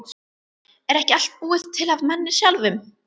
Er ekki allt búið til af manni sjálfum?